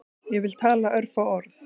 Ég vil tala örfá orð